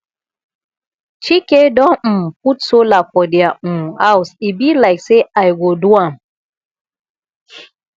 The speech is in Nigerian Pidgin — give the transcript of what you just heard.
chike don um put solar for their um house e be like say i go do am